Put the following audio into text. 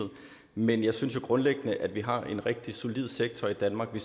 men jeg synes grundlæggende at vi har en rigtig solid sektor i danmark i